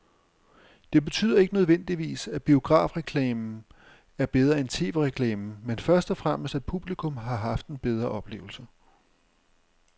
Det betyder ikke nødvendigvis, at biografreklamen er bedre end tv-reklamen, men først og fremmest at publikum har haft en bedre oplevelse.